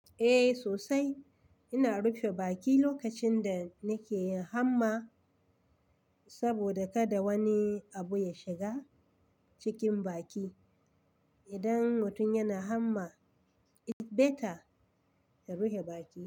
Eh sosai, ina rufe baki lokacin da nake yin hamma saboda kada wani abu ya shiga cikin baki. Idan mutum yana hamma, it's better ya rufe baki.